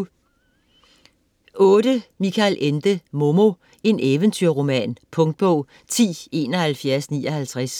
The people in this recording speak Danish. Ende, Michael: Momo: en eventyr-roman Punktbog 107159